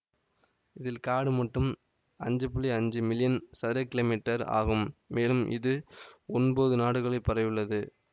இதில் காடு மட்டும் அஞ்சு புள்ளி அஞ்சு மில்லியன் சதுர கீழோ மீட்டர் ஆகும் மேலும் இது ஒன்பது நாடுகளில் பரவியுள்ளது